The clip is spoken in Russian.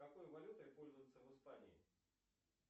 какой валютой пользуются в испании